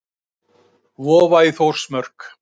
Vofa í Þórsmörk.